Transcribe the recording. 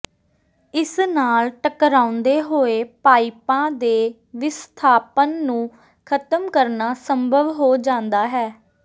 ਇਸ ਨਾਲ ਟਕਰਾਉਂਦੇ ਹੋਏ ਪਾਈਪਾਂ ਦੇ ਵਿਸਥਾਪਨ ਨੂੰ ਖਤਮ ਕਰਨਾ ਸੰਭਵ ਹੋ ਜਾਂਦਾ ਹੈ